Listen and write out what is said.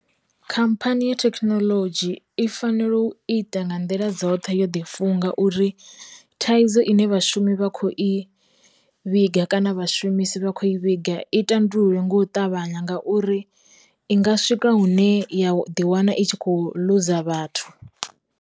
Khamphani ya thekinolodzhi i fanela u ita nga nḓila dzoṱhe yo ḓi funga uri, thaidzo ine vhashumi vha kho i vhiga kana vha shumisi vha kho i vhiga i tandululwe nga u ṱavhanya ngauri, i nga swika hune ya u ḓi wana i tshi kho luza vhathu.